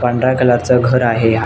पांढऱ्या कलरच घर आहे या --